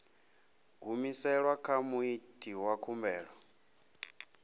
humiselwa kha muiti wa khumbelo